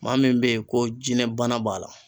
Maa min bɛ yen ko jinɛ bana b'a la